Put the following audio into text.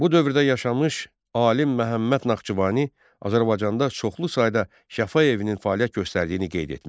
Bu dövrdə yaşamış alim Məhəmməd Naxçıvani Azərbaycanda çoxlu sayda şəfa evinin fəaliyyət göstərdiyini qeyd etmişdi.